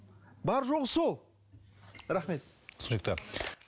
бар жоғы сол рахмет түсінікті